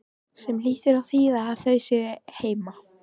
Sem hlýtur að þýða að þau séu heima.